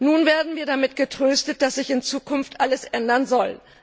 Nun werden wir damit getröstet, dass sich in Zukunft alles ändern soll.